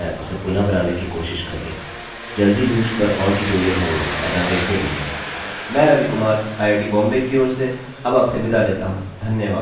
मैं रवि कुमार आईआईटीबॉम्बे की ओर से अब आपसे विदा लेता हूँ धन्यवाद